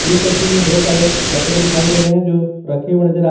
इस तस्वीर में ढेर सारे कपड़े दिखाई दे रहे हैं जो रखे हुए नजर आ रहे--